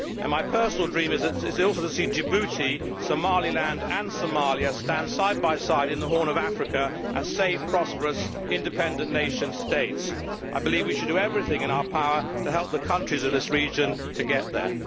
My personal dream is also to see Djibouti, Somaliland and Somalia stand side by side in the Horn of Africa as safe, prosperous, independent nation states. I believe we should do everything in our power to help the countries of this region to get there.